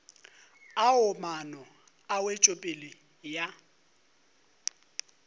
ao maano a wetšopele ya